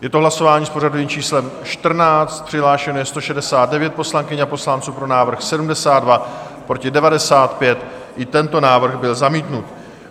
Je to hlasování s pořadovým číslem 14, přihlášeno je 169 poslankyň a poslanců, pro návrh 72, proti 95, i tento návrh byl zamítnut.